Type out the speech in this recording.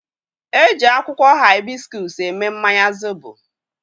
E ji akwukwo hibiscus eme mmanya zobo